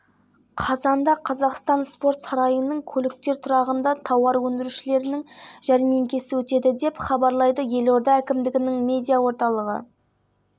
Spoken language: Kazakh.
солтүстік қазақстан облысының тауар өндірушілері астанадағы жәрмеңкеге тонна тонна әкеледі жәрмеңкеге солтүстік қазақстан облысының барлық аудандары мен петропавл